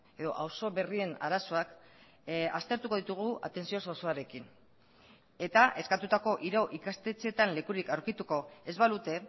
edo auzo berrien arazoak aztertuko ditugu atentzio osoarekin eta eskatutako hiru ikastetxetan lekurik aurkituko ez balute